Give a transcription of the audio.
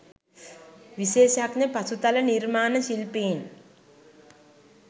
විශේෂඥ පසුතල නිර්මාණ ශිල්පීන්